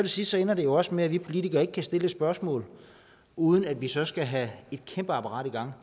sidst ender det jo også med at vi politikere ikke kan stille et spørgsmål uden at vi så skal have et kæmpe apparat i gang